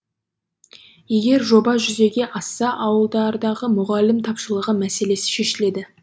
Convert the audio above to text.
егер жоба жүзеге асса ауылдардағы мұғалім тапшылығы мәселесі шешіледі